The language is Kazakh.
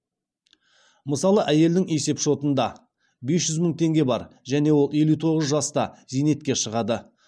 мысалы әйелдің есепшотында бес жүз мың теңге бар және ол елу тоғыз жаста зейнетке шығады